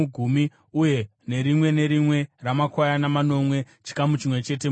uye nerimwe nerimwe ramakwayana manomwe, chikamu chimwe chete mugumi.